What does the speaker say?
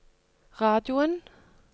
radioen